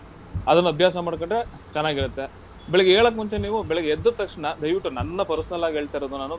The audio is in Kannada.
ಅದನ್ನ ಅಭ್ಯಾಸ ಮಾಡ್ಕಂಡ್ರೆ ಚೆನಾಗಿರತ್ತೆ. ಬೆಳಗ್ಗೆ ಏಳಕ್ಕ್ ಮುಂಚೆ ನೀವು, ಬೆಳಗ್ಗೆ ಎದ್ದ ತಕ್ಷಣ ದಯವಿಟ್ಟು ನನ್ನ personal ಆಗ್ ಹೇಳ್ತಾ ಇರೋದ್ ನಾನು.